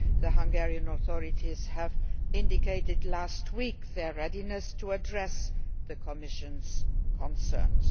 The Hungarian authorities indicated last week their readiness to address the Commission's concerns.